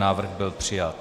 Návrh byl přijat.